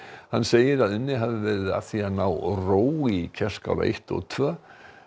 hann segir unnið hafi verið að því að ná ró í Kerskála eitt og tvö